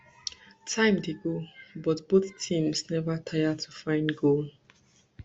time dey go but both teams neva taya to find goal